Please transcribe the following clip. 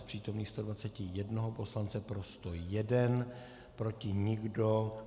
Z přítomných 121 poslanců pro 101, proti nikdo.